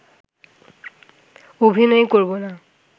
অভিনয় করব না